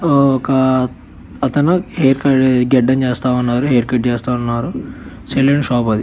ఒక అతను hair cut గడ్డం చేస్తా ఉన్నారు. హెయిర్ కట్ చేస్తా ఉన్నారు. సెలూన్ షాప్ అది.